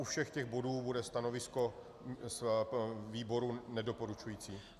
U všech těch bodů bude stanovisko výboru nedoporučující.